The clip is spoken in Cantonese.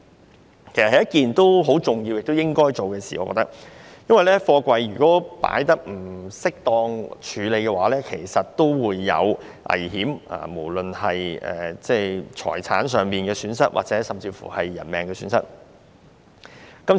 我認為，此事十分重要，亦應該進行，因為貨櫃如果放置或處理不當，便會產生危險，有可能導致財產甚或人命損失。